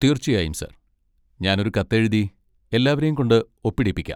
തീർച്ചയായും സർ, ഞാൻ ഒരു കത്ത് എഴുതി എല്ലാവരെയും കൊണ്ട് ഒപ്പിടിപ്പിക്കാം.